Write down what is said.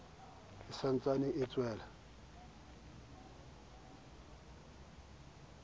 e sa ntsane e tswela